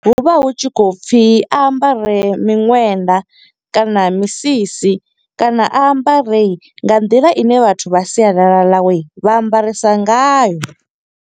Hu vha hu tshi khou pfi, a ambare miṅwenda kana misisi, kana a ambare nga nḓila ine vhathu vha sialala ḽawe, vha ambarisa ngayo.